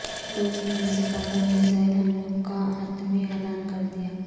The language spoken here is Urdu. روس نے امریکہ پر میزائل حملوں کا حتمی اعلان کردیا